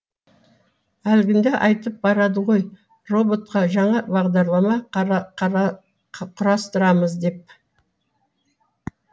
әлгінде айтып барады ғой роботқа жаңа бағдарлама құрастырамыз деп